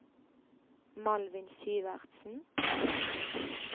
Malvin Syvertsen